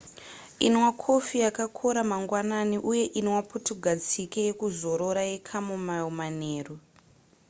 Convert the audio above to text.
inwa kofi yakakora mangwanani uye inwa putugadzike yekuzorora yechamomile manheru